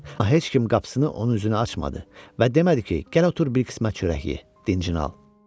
Amma heç kim qapısını onun üzünə açmadı və demədi ki, gəl otur bir qismət çörək ye, dincini al.